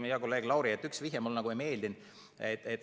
Hea kolleeg Lauri, üks sinu vihje mulle ei meeldinud.